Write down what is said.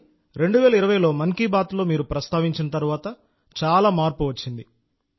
కానీ 2020లో మన్ కీ బాత్లో ప్రస్తావించిన తర్వాత చాలా మార్పు వచ్చింది